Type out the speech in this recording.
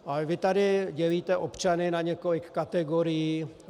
Ale vy tady dělíte občany na několik kategorií.